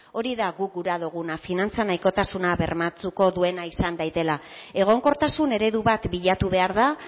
hori da guk gura duguna finantza nahikotasuna bermatuko duena izan dadila egonkortasun eredu bat bilatu behar da